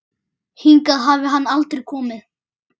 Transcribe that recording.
Hingað hafi hann aldrei komið.